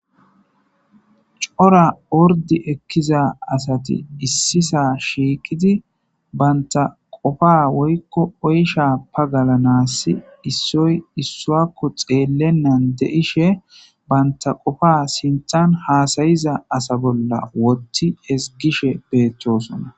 cora ordi ekkiza asati issisa shiiqidi baynta qofa woykko oysha pagalanasi issoy issuakko xeellennan de7ishe banta qofa sinthan haasayiza asa bolla wotti hesgishe beettosona